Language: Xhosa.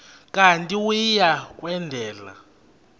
kanti uia kwendela